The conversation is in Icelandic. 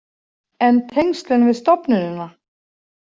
En tengslin við stofnunina?